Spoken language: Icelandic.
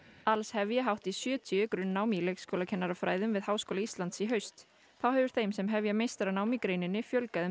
alls hefja hátt í sjötíu grunnnám í leikskólakennarafræðum við Háskóla Íslands í haust þá hefur þeim sem hefja meistaranám í greininni fjölgað um